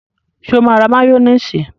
Sọ ma ra máyónísì?